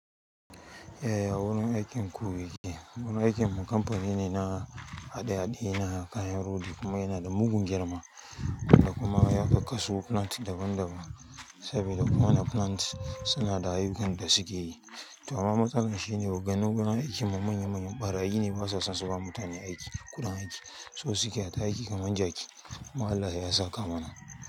Yaya wurin aikin ku yake? Wurin aikinmu kamfani ne na hade-hade na kayan rodi kuma yana da mugun girma da kuma ya kakkasu plant daban-daban saboda ko wani plant suna da ayyukan da suke yi. Amma matsalar shine ogannin wurin aikin mu manya manyan ɓarayi ne basu so suba mutane kuɗin aiki so suke aita aiki kamar jaki Allah ya saka mana.